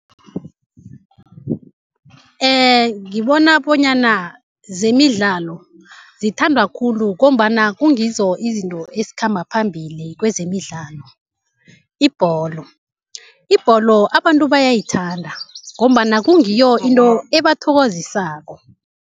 Ngibona bonyana zemidlalo zithandwa khulu ngombana kungizo izinto ezikhamba phambili kwezemidlalo, ibholo. Ibholo abantu bayayithanda ngombana kungiyo into ebathokozisako.